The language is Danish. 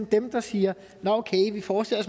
dem der siger at nå okay vi forestiller